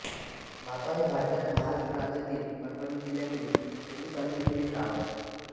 मापा हे भारताच्या महाराष्ट्र राज्यातील परभणी जिल्ह्यातील सेलू तालुक्यातील एक गाव आहे